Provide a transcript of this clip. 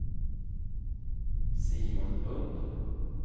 Simon Lundh